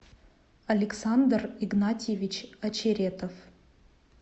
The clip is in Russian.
александр игнатьевич очеретов